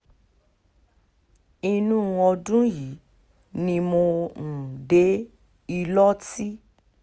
inú ọdún yìí ni mo um dé ìlọ́tì